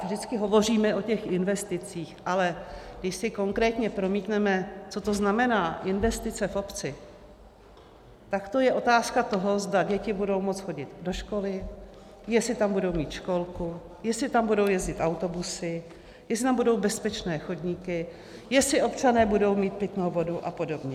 Vždycky hovoříme o těch investicích, ale když si konkrétně promítneme, co to znamená investice v obci, tak to je otázka toho, zda děti budou moci chodit do školy, jestli tam budou mít školku, jestli tam budou jezdit autobusy, jestli tam budou bezpečné chodníky, jestli občané budou mít pitnou vodu a podobně.